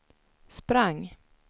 sprang